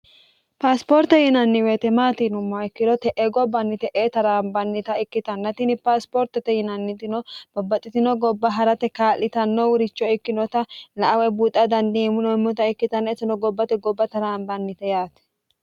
paasipoorte yinanni woyte maatinumma ikkiro te'e gobbanni te'e taraambannita ikkitannatini paasipoortote yinannitino babbaxxitino gobba ha'rate kaa'litanno wuricho ikkinota la awe buuxxa danniheemuneemmota ikkitanna isino gobbate gobba taraambannite yaati